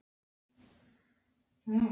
Hún er að missa út úr sér augun.